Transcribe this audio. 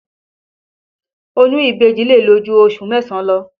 Oyún ìbejì lè lò ju oṣù mẹ́sàn-án lọ